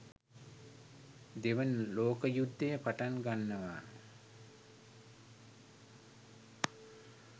දෙවන ලෝක යුද්ධය පටන් ගන්නවා.